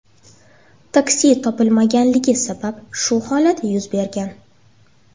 Taksi topilmaganligi sabab shu holat yuz bergan.